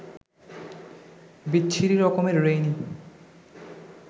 বিচ্ছিরি রকমের রেইনি